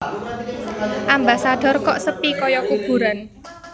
Ambasador kok sepi koyo kuburan